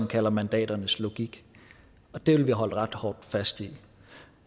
kalder mandaternes logik og det vil vi holde ret hårdt fast i